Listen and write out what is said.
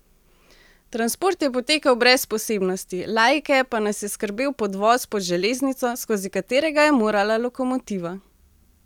Transport je potekal brez posebnosti, laike pa nas je skrbel podvoz pod železnico, skozi katerega je morala lokomotiva.